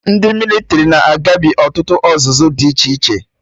Ndị mịlịtrị na-agabi ọtụtụ ọzụzụ dị iche iche